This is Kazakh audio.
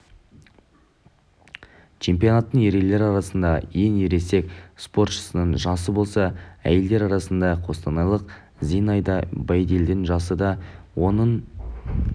чемпионаттың ерелер арасындағы ең ересек спортшысының жасы болса әйелдер арасында қостанайлық зинаида байдельдің жасы де оның